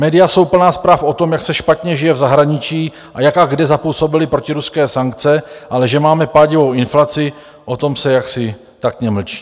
Média jsou plná zpráv o tom, jak se špatně žije v zahraničí a jak a kde zapůsobily protiruské sankce, ale že máme pádivou inflaci, o tom se jaksi taktně mlčí.